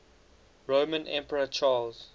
roman emperor charles